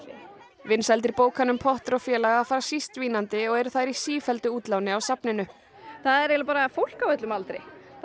vinsældir bókanna um Potter og félaga fara síst dvínandi og eru þær í sífelldu útláni á safninu það er eiginlega fólk á öllum aldri það